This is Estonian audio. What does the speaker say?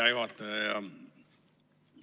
Hea juhataja!